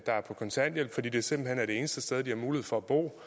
er på kontanthjælp fordi det simpelt hen er de eneste steder hvor de har mulighed for at bo